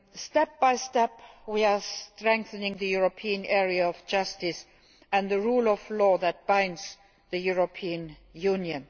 Step by step we are strengthening the European area of justice and the rule of law that binds the European Union.